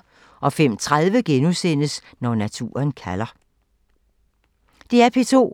DR P2